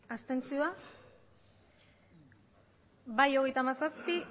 abstentzioak bai hogeita hamazazpi